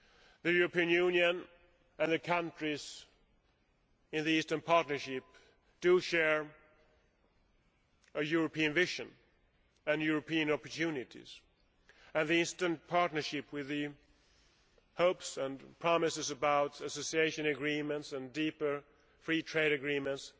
The European Union and the countries in the Eastern Partnership do share a European vision and European opportunities. The Eastern Partnership, with the hopes and promises about association agreements and deeper free trade agreements,